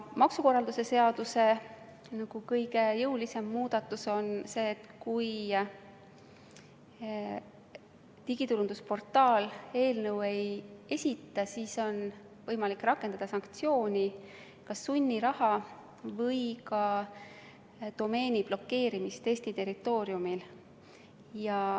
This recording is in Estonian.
Maksukorralduse seaduse kõige jõulisem muudatus oleks see, et kui digiturundusportaal andmeid ei esita, siis on võimalik rakendada sanktsiooni, kas sunniraha või ka domeeni blokeerimist Eesti territooriumil.